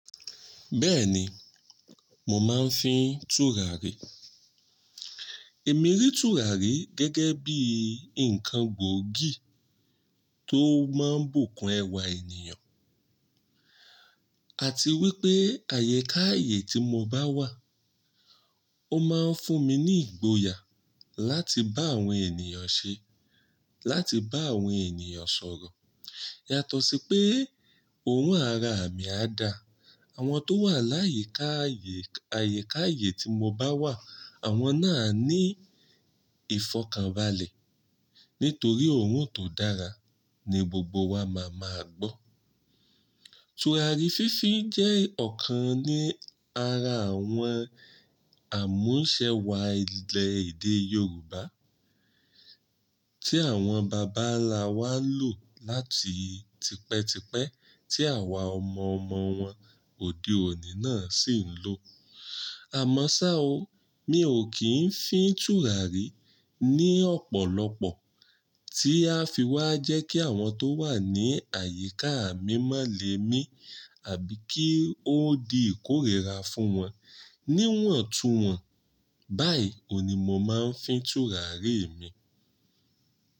Bẹ́ẹ̀ni, mo máa ń fín tùràrí. Èmi rí tùràrí gẹ́gẹ́ bí ǹkan gbòógì tó máa ń bùkún ẹwà ènìyàn àti wípé àyekààyè tí mo bá wà. O máa ń fún mi ní ìgboyà láti bá àwọn ènìyàn ṣe, láti bá àwọn ènìyàn sọ̀rọ̀. Yàtọ̀ sí pé òorun ara à mi á da, àwọn tó wà láyíká ààyè, àyíká ààyè tí mo bá wà àwọn náà ní ìfọ̀kànbalẹ̀ nítorí òun tó dára ni gbogbo wa máa máa gbọ́. Tùràrí fínfin jẹ́ ọ̀kan ní ara àwọn àmúṣẹwa ilẹ̀ èdè Yorùbá Ti àwọn bàbá nlà wá n lò láti tipẹ́tipẹ́ tí àwa ọmọ ọmọ wọn òde òní náà sì ń lò. Àmọ́ ṣá o, mi ò kí ń fín tùràrí ní ọ̀pọ̀lọpọ̀ tí a fi wá jẹ́ kí àwọn tó wà ní àyíká mi má lè mi àbí kí ó di ìkórìíra fún wọn níwọ̀n tu wọ́n. Báyìí òní mo máa ń fín tùràrí mi.